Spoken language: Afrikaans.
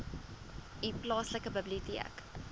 u plaaslike biblioteek